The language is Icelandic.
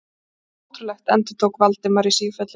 Ótrúlegt endurtók Valdimar í sífellu.